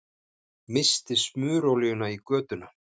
Missti smurolíuna í götuna